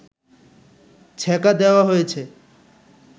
ছ্যাঁকা দেওয়া হয়েছে